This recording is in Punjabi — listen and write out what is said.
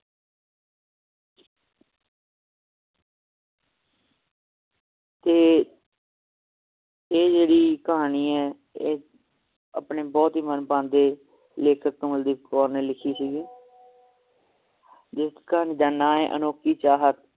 ਤੇ ਇਹ ਜਿਹੜੀ ਕਹਾਣੀ ਏ ਇਹ ਆਪਣੇ ਬਹੁਤ ਹੀ ਮਨਭਾਉਂਦੇ ਲੇਖਕ ਕਮਲਦੀਪ ਕੌਰ ਨੇ ਲਿਖੀ ਹੋਈ ਹੈ ਜਿਸਕਾ ਏ ਅਨੋਖੀ ਚਾਹਤ